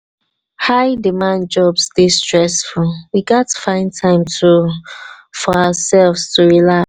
high-demand jobs dey stressful; we gats find time for ourselves to relax.